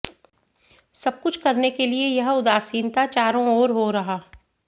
सब कुछ करने के लिए यह उदासीनता चारों ओर हो रहा